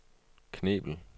Knebel